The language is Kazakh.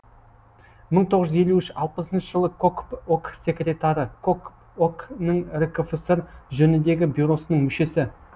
мың тоғыз жүз елу үш алпысыншы жылы кокп ок секретары кокп ок нің ркфср жөніндегі бюросының мүшесі